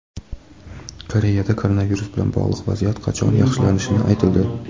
Koreyada koronavirus bilan bog‘liq vaziyat qachon yaxshilanishi aytildi.